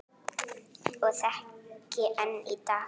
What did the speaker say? Og þekki enn í dag.